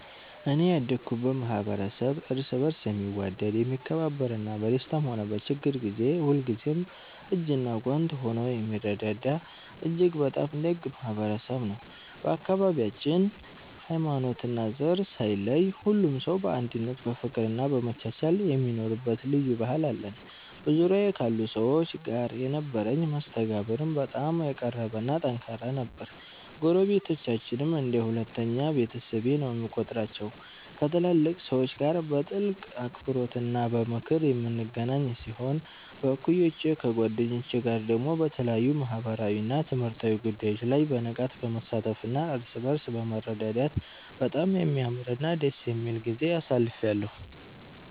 እኔ ያደኩበት ማኅበረሰብ እርስ በርስ የሚዋደድ፣ የሚከባበርና በደስታም ሆነ በችግር ጊዜ ሁልጊዜም እጅና ጓንት ሆኖ የሚረዳዳ እጅግ በጣም ደግ ማኅበረሰብ ነው። በአካባቢያችን ሃይማኖትና ዘር ሳይለይ ሁሉም ሰው በአንድነት በፍቅርና በመቻቻል የሚኖርበት ልዩ ባህል አለን። በዙሪያዬ ካሉ ሰዎች ጋር የነበረኝ መስተጋብርም በጣም የቀረበና ጠንካራ ነበር። ጎረቤቶቻችንን እንደ ሁለተኛ ቤተሰቤ ነው የምቆጥራቸው፤ ከትላልቅ ሰዎች ጋር በጥልቅ አክብሮትና በምክር የምንገናኝ ሲሆን፣ ከእኩዮቼና ከጓደኞቼ ጋር ደግሞ በተለያዩ ማኅበራዊና ትምህርታዊ ጉዳዮች ላይ በንቃት በመሳተፍና እርስ በርስ በመረዳዳት በጣም የሚያምርና ደስ የሚል ጊዜ አሳልፌአለሁ።